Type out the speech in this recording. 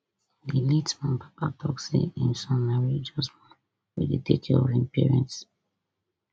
di late man papa tok say im son na religious man wey dey take care of im parents